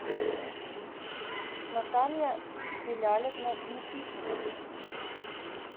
наталья белялевна никитина